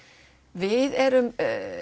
við erum